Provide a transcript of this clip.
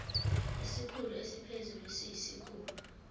isikhulu esiphezulu siyisikhulu